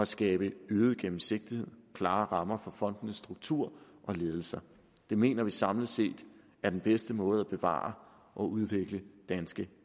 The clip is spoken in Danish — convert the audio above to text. skabes øget gennemsigtighed og klare rammer for fondenes struktur og ledelser det mener vi samlet set er den bedste måde at bevare og udvikle danske